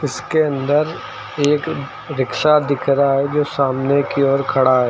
उसके अंदर एक रिक्शा दिख रहा जो सामने को ओर खड़ा है।